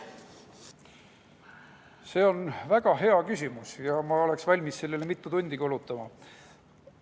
See on väga hea küsimus ja ma oleksin valmis sellele mitu tundi kulutama.